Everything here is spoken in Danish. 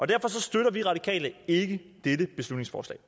derfor støtter vi radikale ikke dette beslutningsforslag